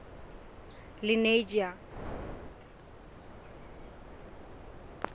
lenasia